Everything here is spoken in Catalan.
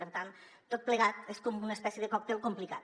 per tant tot plegat és com una es·pècie de còctel complicat